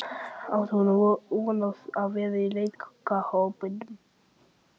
Átti hún von á að vera í lokahópnum?